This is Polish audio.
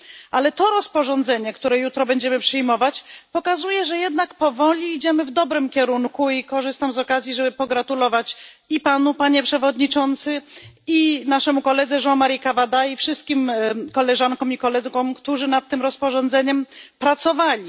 Ale to rozporządzenie, które jutro będziemy przyjmować, pokazuje, że jednak powoli idziemy w dobrym kierunku, i korzystam z okazji, żeby pogratulować i Panu, Panie Przewodniczący, i naszemu koledze Jean Marie Cavadzie i wszystkim koleżankom i kolegom, którzy nad tym rozporządzeniem pracowali.